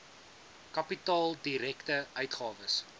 kapitaal direkte uitgawes